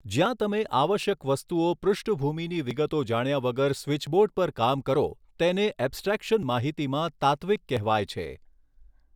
જયાં તમે આવશ્યક વસ્તુઓ પૃષ્ઠભૂમિની વિગતો જાણ્યા વગર સ્વીચબોર્ડ પર કામ કરો તેને એબસ્ટ્રેકશન માહિતીમાં તાત્વિક કહેવાય છે.